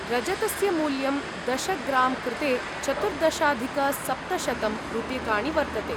रजतस्य मूल्यं दश ग्रां कृते चतुर्दशाधिकसप्तशतं रूप्यकाणि वर्तते।